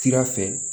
Sira fɛ